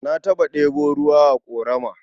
Na taɓa ɗebo ruwa a ƙorama.